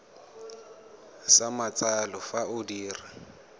sa matsalo fa o dira